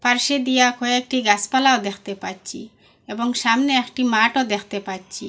পাশে দিয়া কয়েকটি গাছপালাও দেখতে পাচ্ছি এবং সামনে একটি মাঠও দেখতে পাচ্ছি।